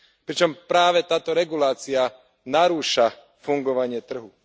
pričom práve táto regulácia narúša fungovanie trhu.